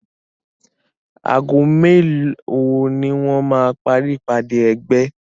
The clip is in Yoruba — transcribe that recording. Ago mélòó ni wọ́n máa parí ìpádé ẹgbẹ́?